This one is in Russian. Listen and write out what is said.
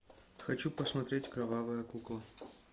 хочу посмотреть кровавая кукла